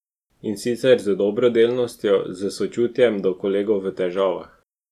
In sicer z dobrodelnostjo, s sočutjem do kolegov v težavah.